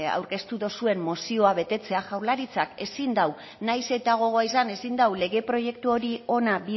aurkeztu dozuen mozioa betetzea jaurlaritzak ezin dau nahiz eta gogoa izan ezin dau lege proiektu hori hona